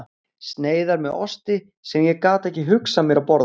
sneiðar með osti sem ég gat ekki hugsað mér að borða.